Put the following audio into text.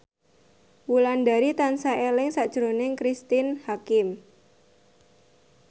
Wulandari tansah eling sakjroning Cristine Hakim